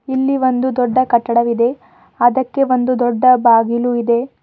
ಇಲ್ಲಿ ಒಂದು ದೊಡ್ಡ ಕಟ್ಟಡವಿದೆ ಅದಕ್ಕೆ ಒಂದು ದೊಡ್ಡ ಬಾಗಿಲು ಇದೆ.